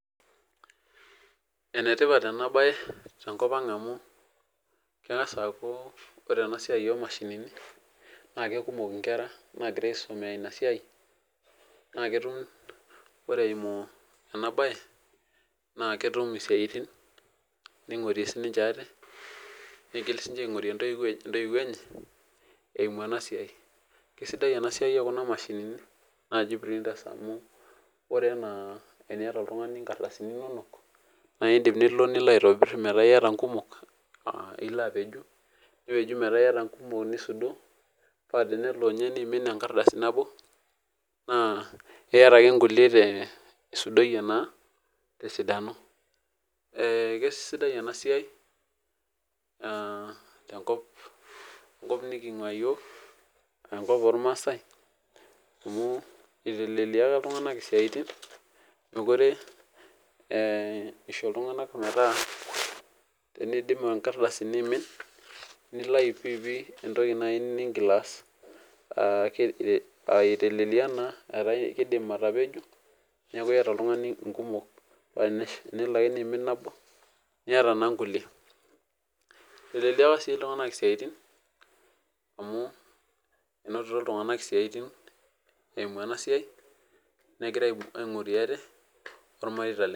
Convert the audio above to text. Enetipat ena bae tenkop ang amu, kengas aaku ore ena siai o mashinini naa kekumok inkera naigira aisomea ina siai naa ketum. Ore eimu ena bae naa ketum isiatin niongorie sininche ate ningil sininche aingorie intoyiou enye eimu ena siai. Kisidai ena siai o kuna mashinini naaji printers amu, ore eniyata oltungani inkardasini inonok naidim nilo aitobir metaa iyata inkumok aa Ilo apeju nipeju metaa iyata inkumok nisudoo paa tenelo ninye neimin ekardasi nabo naa, iyata ake ikulie isudoiyie naa tesidano. Eh kesidai ena siai ah tenkop nikingua iyiok amu enkop ormaasae amu itelelekia iltunganak isiatin mekure eh isho iltunganak metaa teneidim irkadasini aimin nilai pidipi etoki nai nigil aas. Ah itelelelia naa etaa idim atapeju neaku iyata oltungani ikumok paa tenelo ake niimin nabo niyata naa inkulie. Itelelelia si iltunganak isiatin amu, enotito iltunganak isiatin eimu ena siai negira aingorie ate ormareita lenye.